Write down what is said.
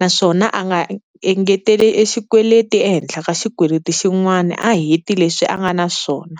naswona a nga engeteli e xikweleti ehenhla ka xikweleti xin'wana a heti leswi a nga na swona.